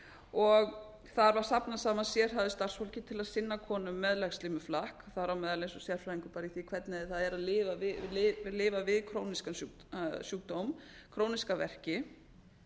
og þar var safnað saman sérhæfðu starfsfólki til að sinna konum með legslímuflakk þar á meðal eins og sérfræðingur í því hvernig ár er að lifa við króníska sjúkdóm króníska verki